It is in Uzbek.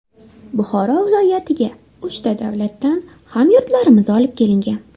Buxoro viloyatiga uchta davlatdan hamyurtlarimiz olib kelingan.